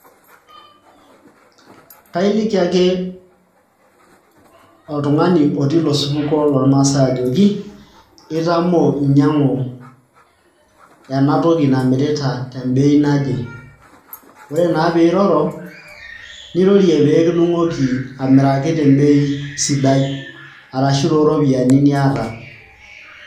kailiki ake oltung'ani otii ilo supuko loormaasay ajoki itamoo inyiang'u ena toki namirita tembei naje ore naa piiroro nirorie pee kidung'oki amiraki tembei sidai arashu tooropiyiani niata.